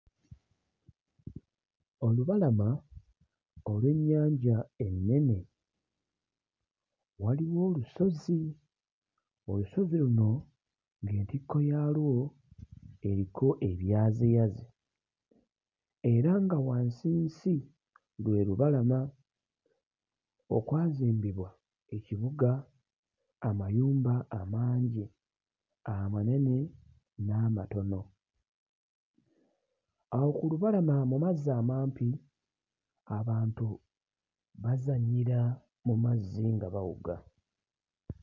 Olubalama olw'ennyanja ennene, waliwo olusozi, olusozi luno ng'entikko yaalwo eriko ebyaziyazi era nga wansinsi lwe lubalama okwazimbibwa ekibuga, amayumba amangi amanene n'amatono. Awo ku lubalama mu mazzi amampi abantu bazannyira mu mazzi nga bawuga.